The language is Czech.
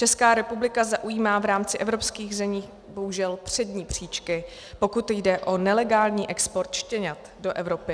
Česká republika zaujímá v rámci evropských zemí bohužel přední příčky, pokud jde o nelegální export štěňat do Evropy.